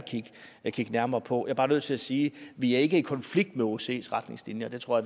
kigge nærmere på jeg er bare nødt til at sige vi er ikke i konflikt med osces retningslinjer det tror